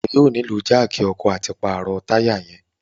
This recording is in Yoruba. Iwọ yóò nilo jáákí ọkọ lati paro taya rẹ